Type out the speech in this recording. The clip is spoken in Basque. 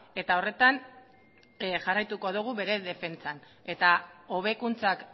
eta horretan jarraituko dugu bere defentsan eta hobekuntzak